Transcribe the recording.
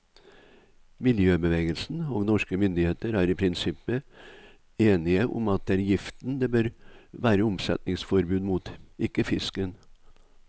Miljøbevegelsen og norske myndigheter er i prinsippet enige om at det er giften det bør være omsetningsforbud mot, ikke fisken.